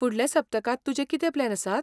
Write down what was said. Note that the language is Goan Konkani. फुडल्या सप्तकांत तुजे कितें प्लॅन आसात?